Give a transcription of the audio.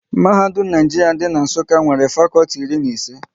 Mahadum Naijiria dị n'Nsukka nwere fakọlti iri na ise